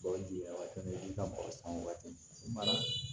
Bagaji waati min i ka bɔrɔ san o waati i mana